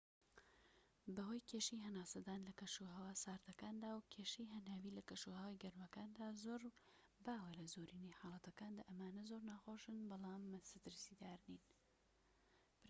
بەهۆی کێشەی هەناسەدان لە کەشوهەوا ساردەکاندا و کێشەی هەناویی لە کەشوهەوا گەرمەکاندا زۆر باوە لە زۆرینەی حاڵەتەکاندا ئەمانە زۆر ناخۆشن بەڵام مەترسیدار نین